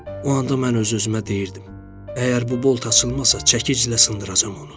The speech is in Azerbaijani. O anda mən öz-özümə deyirdim: "Əgər bu bolt açılmasa, çəkiclə sındıracam onu."